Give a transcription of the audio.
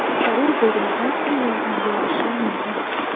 Zarur bo‘lganida u yordam berishi mumkin.